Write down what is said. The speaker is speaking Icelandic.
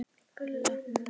Gulla. hún var.